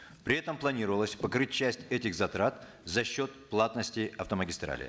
при этом планировалось покрыть часть этих затрат за счет платности автомагистралей